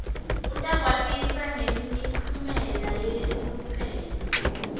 utakwatisa ngemiphumela yeluphenyo